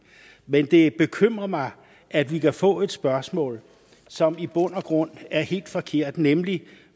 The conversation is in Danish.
men det bekymrer mig at vi kan få et spørgsmål som i bund og grund er helt forkert nemlig